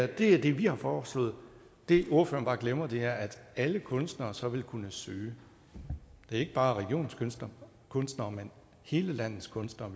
det vi har foreslået det ordføreren bare glemmer er at alle kunstnere så vil kunne søge det er ikke bare regionens kunstnere kunstnere men hele landets kunstnere